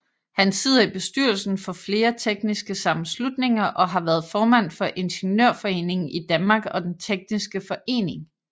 Han sidder i bestyrelsen for flere tekniske sammenslutninger og har været formand for Ingeniørforeningen i Danmark og Den tekniske Forening